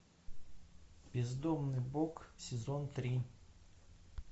бездомный бог сезон три